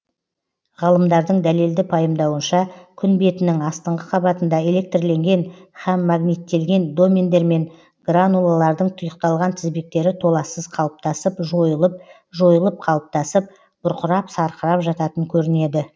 ғалымдардың дәлелді пайымдауынша күн бетінің астыңғы қабатында электрленген һәм магниттелген домендер мен гранулалардың тұйықталған тізбектері толассыз қалыптасып жойылып жойылып қалыптасып бұрқырап сарқырап жататын көрінеді